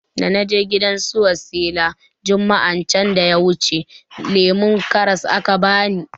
Dana je gidan su wasila juma'a can da yawuce lemon karras aka bani